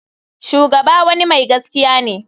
Shugaba wani mai gaskiya ne.